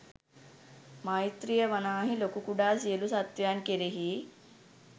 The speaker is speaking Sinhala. මෛත්‍රීය වනාහි ලොකු කුඩා සියලු සත්ත්වයන් කෙරෙහි